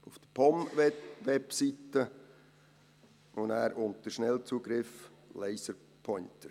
Auf der POM-Webseite gehen Sie auf Schnellzugriff und wählen «Laserpointer».